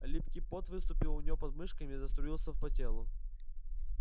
липкий пот выступил у неё под мышками и заструился по телу